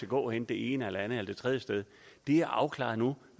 gå henne det ene det andet eller det tredje sted det er afklaret nu